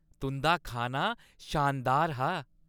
तुंʼदा खाना शानदार हा।